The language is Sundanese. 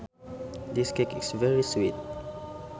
This cake is very sweet